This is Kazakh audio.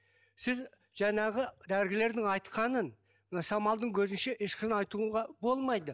сіз жаңағы дәрігерлердің айтқанын мына самалдың көзінше ешқашан айтуға болмайды